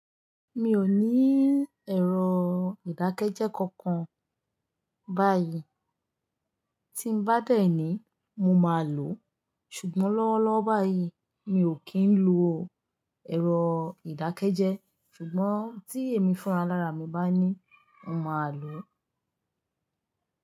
Mi ò ní ẹ̀rọ ìdákẹ́jẹ́ kankan báyìí. Tí n bá dẹ ni mo máa lò ó. Ṣùgbọ́n lọ́wọ́lọ́wọ́ báyìí mi ò kí ń lo ẹ̀rọ ìdákẹ́jẹ́. Ṣùgbọ́n tí èmi fúnra lára mi bá ní, mo máa lò ó.